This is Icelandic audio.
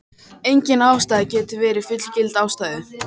Engin ástæða getur verið fullgild ástæða.